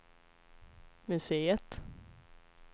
museet